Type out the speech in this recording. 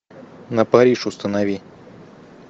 на париж установи